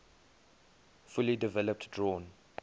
fully developed drawn